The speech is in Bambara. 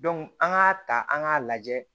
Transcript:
an k'a ta an k'a lajɛ